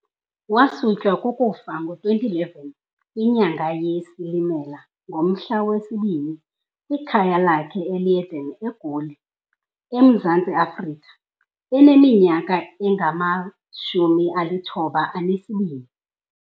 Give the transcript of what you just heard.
Wasutywa kukufa ngo-2011 kwinyanga yeSilimela ngomhla we-2, kwikhaya lakhe eLeiden, eGoli, eMzantsi Afrika eneminyaka engama-92.v